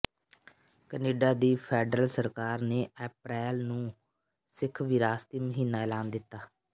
Canada ਦੀ federal ਸਰਕਾਰ ਨੇ ਅਪਰੈਲ ਨੂੰ ਸਿੱਖ ਵਿਰਾਸਤੀ ਮਹੀਨਾ ਐਲਾਨ ਦਿੱਤਾ